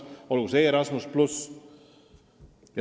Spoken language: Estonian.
Olgu näiteks toodud programm Erasmus+.